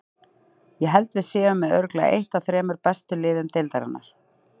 Ég held að við séum með örugglega eitt af þremur bestu liðum deildarinnar.